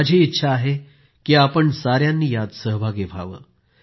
माझी इच्छा आहे की आपण साऱ्यांनी यात सहभागी व्हावं